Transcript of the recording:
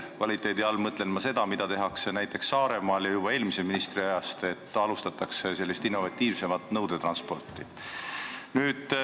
Kvaliteedi all mõtlen ma seda, mida tehakse näiteks Saaremaal ja juba eelmise ministri ajast, nimelt sellist innovatiivsemat nõudetransporti.